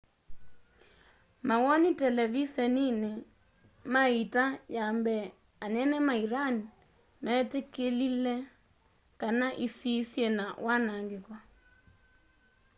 mawoni televiseniini mai iita ya mbee anene ma iran meetikilie kana isii syina wanaangiko